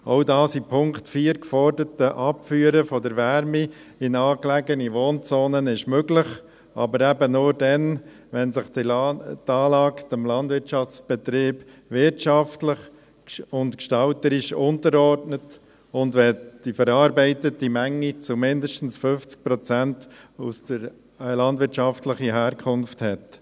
Auch das in Punkt 4 geforderte Abführen der Wärme in nahegelegene Wohnzonen ist möglich, aber eben nur dann, wenn sich die Anlage dem Landwirtschaftsbetrieb wirtschaftlich und gestalterisch unterordnet und wenn die verarbeitete Menge zu mindestens 50 Prozent eine landwirtschaftliche Herkunft hat.